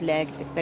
Mütləqdir.